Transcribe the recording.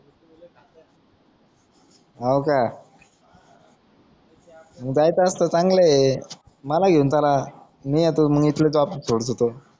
हो का जायचं असलं चांगलंये मला घेऊन चला मी येतो इथलं सोडतो तो